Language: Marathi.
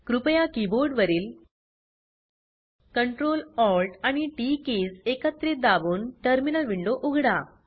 कृपया कीबोर्ड वरील Ctrl Alt आणि टीटी कीज एकत्रित दाबून टर्मिनल विंडो उघडा